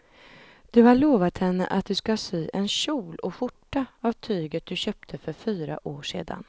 Du har lovat henne att du ska sy en kjol och skjorta av tyget du köpte för fyra år sedan.